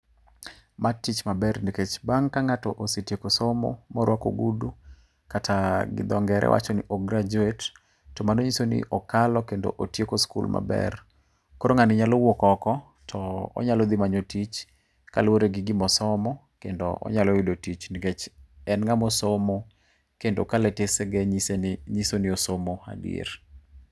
Matich maber nikech bang' kang'ato osetieko somo ma orwako ogudu. Kata gi dho ngere wacho ni o graduate. To mano nyiso ni okalo kendo otieko skul maber. Koro ng'ani nyalo wuok oko to onyalo dhi manyo tich kaluwore gi gimo somo kendo onyalo yudo tich nikech en ng'ama osomo kendo kalatesene chiso ni osomo adier.